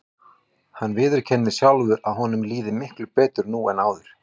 Hann viðurkennir sjálfur að honum líði miklu betur nú en áður.